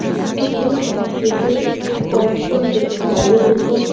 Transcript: ইস্কুলটির গেটে কয়েকজন ব্যক্তি দাঁড়িয়ে রয়েছেন।